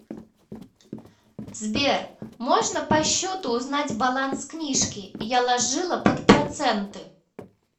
сбер можно по щету узнать баланс книжки я ложила под проценты